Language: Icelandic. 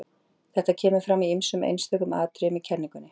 Þetta kemur fram í ýmsum einstökum atriðum í kenningunni.